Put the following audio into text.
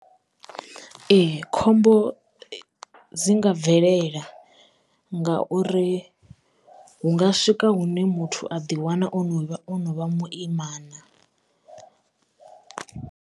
Ee khombo dzi nga bvelela ngauri hunga swika hune muthu a ḓi wana ono vha ono vha muimana.